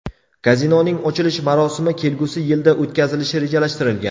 Kazinoning ochilish marosimi kelgusi yilda o‘tkazilishi rejalashtirilgan.